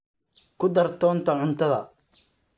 ku dar toonta cuntada